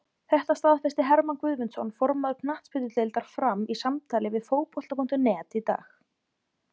Þetta staðfesti Hermann Guðmundsson, formaður knattspyrnudeildar Fram, í samtali við Fótbolta.net í dag.